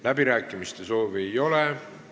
Läbirääkimiste soovi ei ole.